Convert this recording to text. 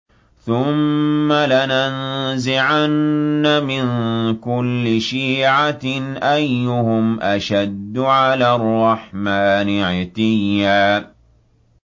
ثُمَّ لَنَنزِعَنَّ مِن كُلِّ شِيعَةٍ أَيُّهُمْ أَشَدُّ عَلَى الرَّحْمَٰنِ عِتِيًّا